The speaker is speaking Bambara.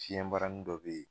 Fiɲɛ barani dɔ be yen